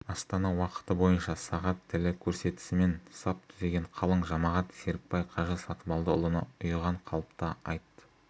астана уақыты бойынша сағат тілі көрсетісімен сап түзеген қалың жамағат серікбай қажы сатыбалдыұлына ұйыған қалыпта айт